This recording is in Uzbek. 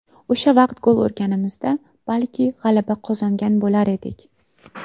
O‘sha vaqt gol urganimizda, balki g‘alaba qozongan bo‘lar edik.